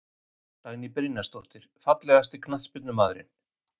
Dagný Brynjarsdóttir Fallegasti knattspyrnumaðurinn?